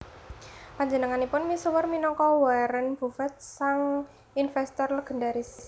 Panjenenganipun misuwur minangka Warren Buffett sang investor legendaris